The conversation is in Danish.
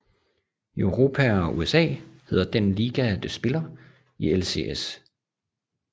I Europa og USA hedder den liga de spiller i LCS